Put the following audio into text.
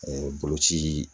boloci